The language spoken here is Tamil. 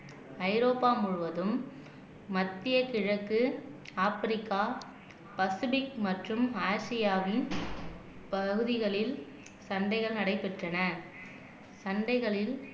ஐரோப்பா முழுவதும் மத்திய கிழக்கு ஆப்பிரிக்கா பசிபிக் மற்றும் ஆசியாவின் பகுதிகளில் சண்டைகள் நடைபெற்றன சண்டைகளில்